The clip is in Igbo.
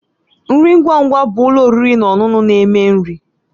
Nri ngwa ngwa bụ ụlọ oriri na ọṅụṅụ na- eme nri